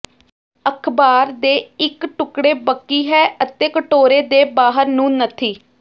ਅਖਬਾਰ ਦੇ ਇੱਕ ਟੁਕੜੇ ਬਕੀ ਹੈ ਅਤੇ ਕਟੋਰੇ ਦੇ ਬਾਹਰ ਨੂੰ ਨੱਥੀ